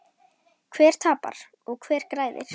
Hver tapar og hver græðir?